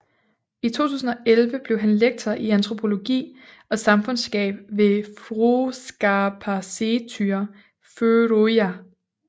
I 2011 blev han lektor i antropologi og samfundskunskab ved Fróðskaparsetur Føroya